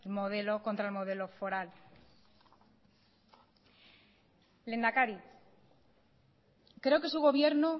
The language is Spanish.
contra el modelo foral lehendakari creo que su gobierno